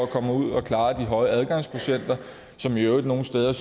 komme ud og klare de høje adgangskvotienter som i øvrigt nogle steder